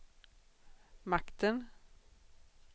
makten